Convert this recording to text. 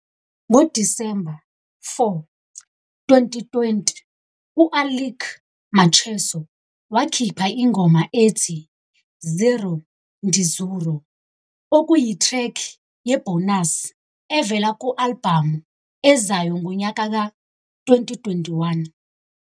NgoDisemba 4, 2020, u-Alick Macheso wakhipha ingoma ethi "Zero Ndizuro", okuyithrekhi yebhonasi evela ku-albhamu ezayo ngonyaka ka-2021.